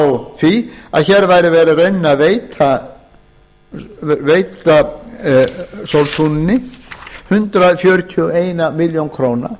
á því að hér væri í rauninni verið að veita sóltúni hundrað fjörutíu og eina milljón króna